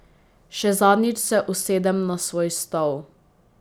Še zadnjič se usedem na svoj stol.